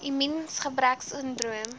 immuungebreksindroom